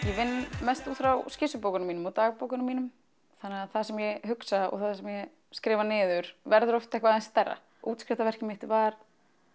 vinn mest út frá mínum og dagbókunum mínum þannig að það sem ég hugsa og það sem ég skrifa niður verður oft eitthvað aðeins stærra mitt var